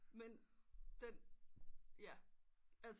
Men den ja altså